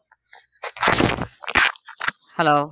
Hello